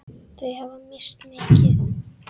Þau hafa misst mikið.